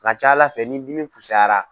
A ka ca ALA fɛ ni dimi fusayara.